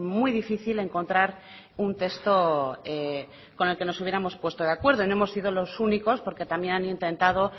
muy difícil encontrar un texto con el que nos hubiéramos puesto de acuerdo y no hemos sido los únicos porque también han intentado